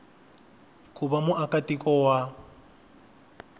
ku va muaka tiko wa